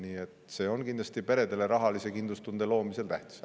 Nii et see on kindlasti peredele rahalise kindlustunde loomisel tähtis.